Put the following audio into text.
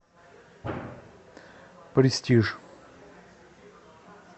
престиж